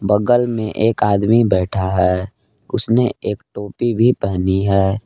बगल में एक आदमी बैठा है उसने एक टोपी भी पहनी है।